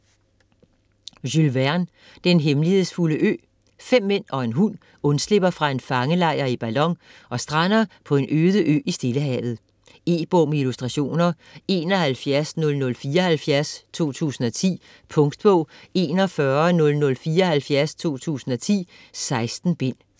Verne, Jules: Den hemmelighedsfulde ø Fem mænd og en hund undslipper fra en fangelejr i ballon og strander på en øde ø i Stillehavet. E-bog med illustrationer 710074 2010. Punktbog 410074 2010. 16 bind.